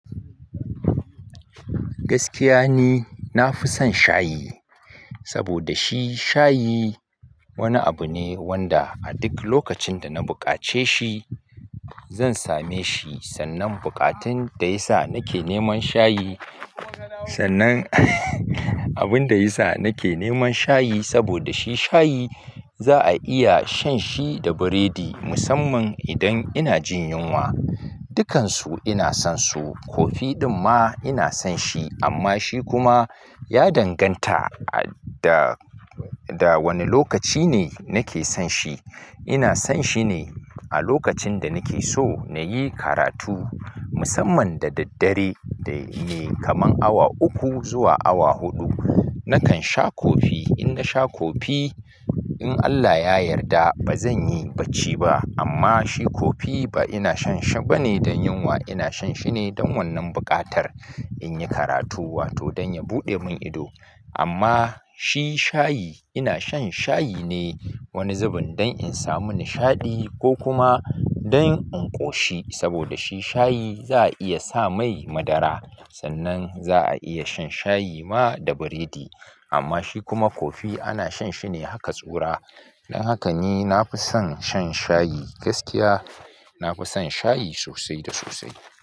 Gaskiya ni, na fi son shayi saboda shi shayi wani abu ne wanda a duk lokacin da na buƙace shi zan same shi. Sannan buƙatun da ya sa nake neman shayi, sannan abun da ya sa nake neman shayi saboda shi shayi za a iya shan shi da biredi musamman idan ina jin yunwa. Dukansu ina son su. Coffee ɗinma ina son shi amma shi kuma ya danganta da wane lokaci ne nake son shi ina son shi ne a lokacin da nake so na yi karatu musamman da daddare da ne kaman awa uku zuwa awa huɗu. Na kan sha coffee in nasha coffee in Allah ya yarda ba zanyi bacci ba amma shi kofi ba ina shan shi ba ne dan yunwa. Ina shan shi ne don wannan buƙatar in yi karatu wato don ya buɗe mun ido. Amma shi shayi ina shan shayi ne wani zubin don in samu nishaɗi ko kuma don in ƙoshi, saboda shi shayi za'a iya sa mai madara. Sannan za a iya shan shayi ma da biredi. Amma shi kuma kofi ana shan shi ne haka tsura. Don haka ni nafi son sha shayi. Gaskiya na fi son shayi sosai da sosai.